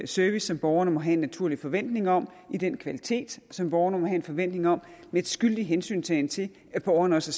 service som borgerne må have en naturlig forventning om i den kvalitet som borgerne må have en forventning om og med skyldig hensyntagen til at borgeren også